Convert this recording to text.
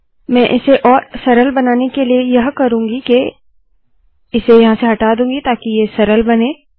मैं इसे और सरल बनाने के लिए यह करुँगी के इसे हटा दूंगी ताकि ये सरल बने